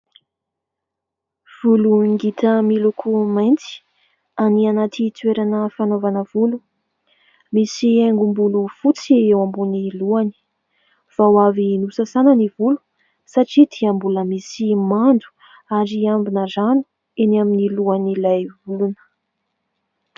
Volo ngita miloko mainty any anaty toerana fanaovana volo, misy haingom-bolo fotsy eo ambony lohany, vao avy nosasana ny volo satria dia mbola misy mando ary ambina rano eny amin'ny lohan'ilay olona.